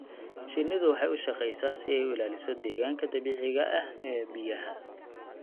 Shinnidu waxay u shaqeysaa si ay u ilaaliso deegaanka dabiiciga ah ee biyaha.